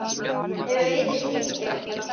Þau Auður skildu.